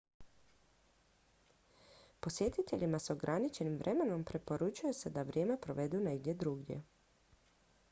posjetiteljima s ograničenim vremenom preporučuje se da vrijeme provedu negdje drugdje